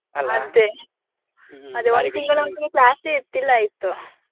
ಅಂತೂ class ಇರ್ತಿಲ್ಲಾ ಇತ್ತು.